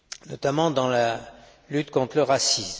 notamment dans la lutte contre le racisme.